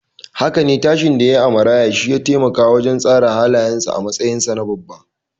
Haka ne, tashin da yayi a maraya shiya taimaka wajen tsara halayensa a matsayinsa na babba.